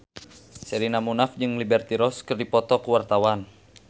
Sherina Munaf jeung Liberty Ross keur dipoto ku wartawan